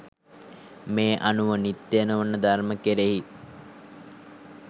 මේ අනුව නිත්‍ය නොවන ධර්ම කෙරෙහි